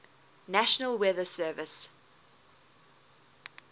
national weather service